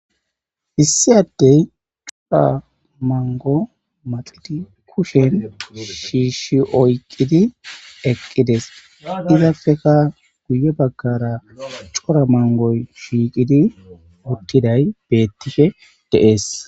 Issi addey cora mango maqiadi kushen shiishi oyqqidi eqqides izafeka guye baggara cora mangoy shiiqidi uttiday beettife deees.